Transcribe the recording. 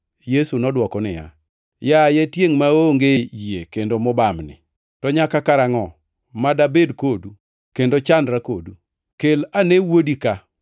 Yesu nodwoko niya, “Yaye, tiengʼ maonge yie kendo mobamni, to nyaka karangʼo ma dabed kodu kendo chandra kodu.” Kel ane wuodi ka.